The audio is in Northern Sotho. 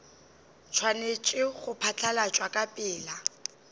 swanetše go phatlalatšwa ka pela